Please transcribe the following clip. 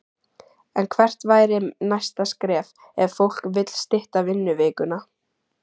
En hvert væri næsta skref ef fólk vill stytta vinnuvikuna?